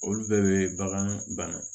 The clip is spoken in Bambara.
Olu bɛɛ bɛ bagan banna